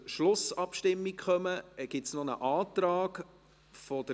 – Grossrätin Gabi Schönenberger.